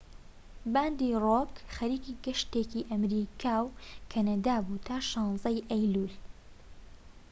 باندی ڕۆک خەریکی گەشتێکی ئەمەریکا و کەنەدا بوو تا 16ی ئەیلوول